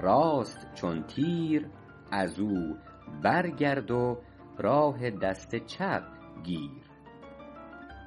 راست چون تیر از او برگرد و راه دست چپ گیر